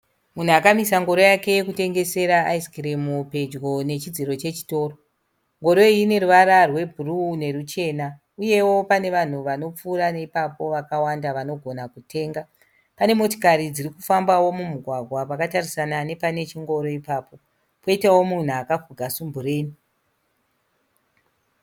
Munhu akamiswa ngoro yake yekutengesera ayisikimu pedyo nechidziro chechikoro. Ngoro iyi ine ruvara rwubhuruwu neruchena. Uyewo pane vanhu vanopfuura neipapo vakawanda vanogona kutenga. Pane motokari dzirikufambawo mumugwagwa wakatarisana nepanechitoro ipapo, uyewo poita munhu akafuga sumbureni.